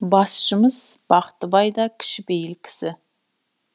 басшымыз бақтыбай да кішіпейіл кісі